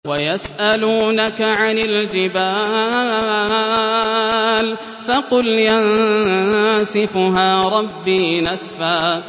وَيَسْأَلُونَكَ عَنِ الْجِبَالِ فَقُلْ يَنسِفُهَا رَبِّي نَسْفًا